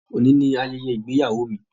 Óní ni ayẹyẹ ìgbéyàwó mi.